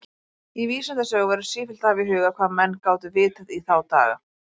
Í vísindasögu verður sífellt að hafa í huga, hvað menn gátu vitað í þá daga.